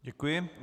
Děkuji.